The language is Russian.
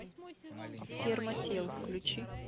ферма тел включи